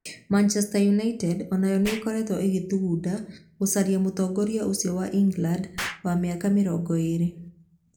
Manchester United o nayo nĩ ĩkoretwo ĩgĩthugunda gũcaria mũtongoria ũcio wa England, wa mĩaka 20.